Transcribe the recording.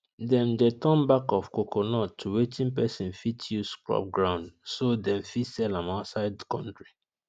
them de turn back of coconut to wetin person fit use scrub ground so them fit sell am outside country